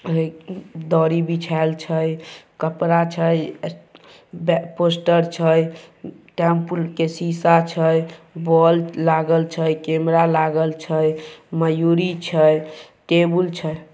एक दरी बिछाएल छए कपड़ा छए पोस्टर छए टैम्पू के शीशा छए बॉल्ब लागल छए कैमरा लागल छए मयूरी छए टेबुल छए।